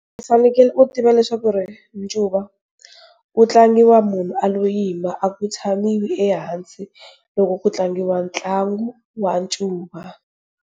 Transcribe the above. U fanekele u tiva leswaku ncuva wu tlangiwa munhu a lo yima a ku tshamiwi ehansi loko ku tlangiwa ntlangu wa ncuva.